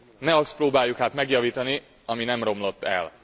Ne azt próbáljuk hát megjavítani, ami nem romlott el!